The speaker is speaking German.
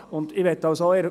Ich möchte betonen: